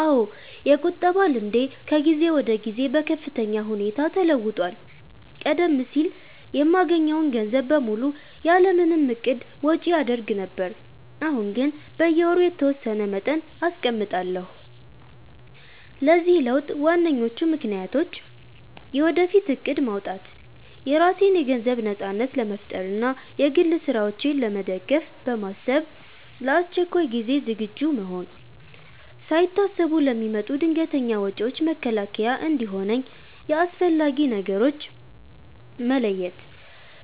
አዎ፣ የቁጠባ ልምዴ ከጊዜ ወደ ጊዜ በከፍተኛ ሁኔታ ተለውጧል። ቀደም ሲል የማገኘውን ገንዘብ በሙሉ ያለ ምንም እቅድ ወጪ አደርግ ነበር፤ አሁን ግን በየወሩ የተወሰነ መጠን አስቀምጣለሁ። ለዚህ ለውጥ ዋነኞቹ ምክንያቶች፦ የወደፊት እቅድ ማውጣት፦ የራሴን የገንዘብ ነጻነት ለመፍጠር እና የግል ስራዎቼን ለመደገፍ በማሰብ፣ ለአስቸኳይ ጊዜ ዝግጁ መሆን፦ ሳይታሰቡ ለሚመጡ ድንገተኛ ወጪዎች መከላከያ እንዲሆነኝ፣ የአስፈላጊ ነገሮች መለየት፦